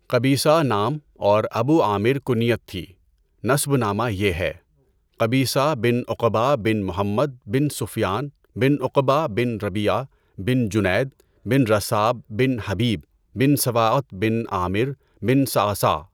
قبیصہ نام اور ابو عامر کنیت تھی، نسب نامہ یہ ہے: قبیصہ بن عُقبَہ بن محمد بن سفیان بن عُقبَہ بن رَبیعہ بن جنید بن رثاب بن حبیب بن سواءۃ بن عامر بن صَعصَعہ۔